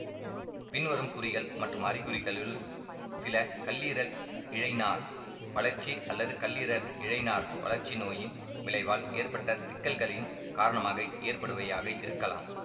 பின்வரும் குறிகள் மற்றும் அறிகுறிகளுள் சில கல்லீரல் இழைநார் வளர்ச்சி அல்லது கல்லீரல் இழைநார் வளர்ச்சி நோயின் விளைவால் ஏற்பட்ட சிக்கல்களின் காரணமாக ஏற்படுபவையாக இருக்கலாம்